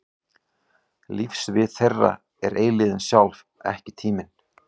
Lífssvið þeirra er eilífðin sjálf, ekki tíminn.